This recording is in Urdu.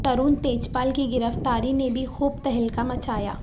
ترون تیجپال کی گرفتاری نے بھی خوب تہلکہ مچایا